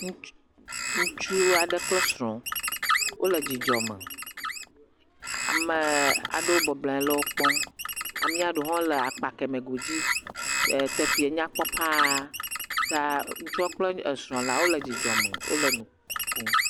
Ŋutsu aɖe kple srɔ̃. Wòle dzidzɔ me. Ame aɖewo bɔbɔ nɔ anyi le wokpɔm. Amea ɖe le akpa le eme godzi. Teƒea nyakpɔ Paa. Ŋutsu kple srɔ̃wole dzidzɔ me.